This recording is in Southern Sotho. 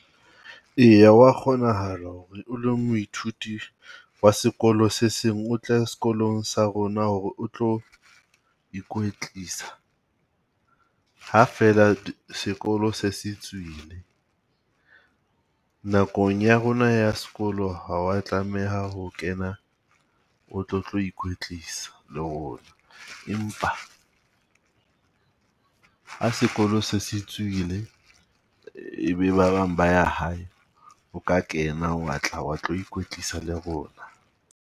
Eya hwa kgonahala ho re o le moithuti wa sekolo se seng o tle sekolong sa rona hore o tlo ikwetlisa, ha feela sekolo se se tswile. Nakong ya rona ya sekolo ha wa tlameha ho kena o tlo tlo ikwetlisa le rona, empa ha sekolo se se tswile, ebe ba bang ba ya hae, o ka kena wa tla wa tlo ikwetlisa le rona.